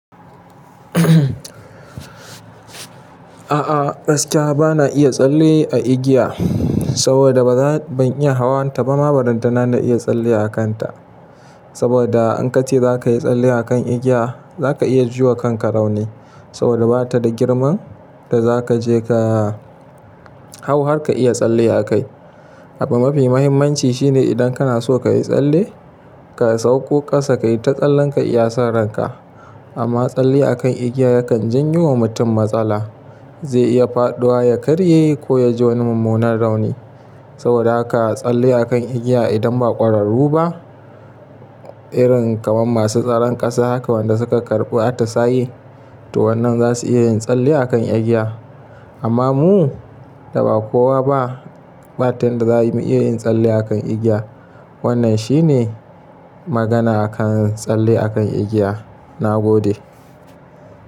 A'a gaskiya bana iya tsalle a igiya, saboda ban iya hawan ta ba, ma ba ranta na iya tsalle a kan ta. Saboda in ka ce za ka yi tsalle a kan igiya, za ka iya juwa kanka rauni. Saboda ba ta da girman da za ka je ka hau har ka iya tsalle a kai. Abin mafi muhimmanci shine idan kana so ka yi tsalle, ka sauko ƙasa ka yi ta tsallen ka iya sa ran ka. Amma tsalle a kan igiya yakan janyo wa mutum matsala. Zai iya faɗuwa ya karye ko ya ji wani mummunan rauni. Saboda haka tsalle a kan igiya idan ba ƙwararru ba, irin kamar masu tsaron ƙasa haka wanda suka karɓu atisaye, to wannan za su iya yin tsalle a kan igiya. Amma mu da ba kowa ba, ba tin za mu iya yin tsalle a kan igiya. Wannan shi ne magana a kan tsalle a kan igiya. Na gode.